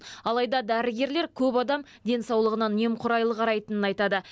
алайда дәрігерлер көп адам денсаулығына немқұрайлы қарайтынын айтады